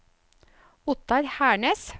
Ottar Hernes